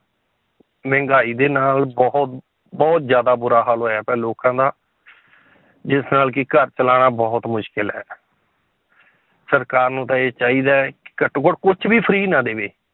ਮਹਿੰਗਾਈ ਦੇ ਨਾਲ ਬਹੁਤ ਬਹੁਤ ਜ਼ਿਆਦਾ ਬੁਰਾ ਹਾਲ ਹੋਇਆ ਪਿਆ ਲੋਕਾਂ ਦਾ ਜਿਸ ਨਾਲ ਕਿ ਘਰ ਚਲਾਉਣਾ ਬਹੁਤ ਮੁਸ਼ਕਲ ਹੈ ਸਰਕਾਰ ਨੂੰ ਤਾਂ ਇਹ ਚਾਹੀਦਾ ਹੈ ਘੱਟੋ ਘੱਟ ਕੁਛ ਵੀ free ਨਾ ਦੇਵੇ